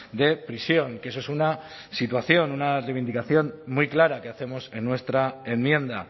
de prisión que eso es una situación una reivindicación muy clara que hacemos en nuestra enmienda